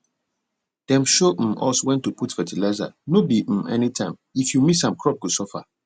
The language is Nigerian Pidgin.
dem show um us when to put fertilizer no be um anytimeif you miss am crop go suffer